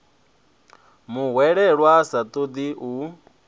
muhwelelwa a sa ṱoḓi u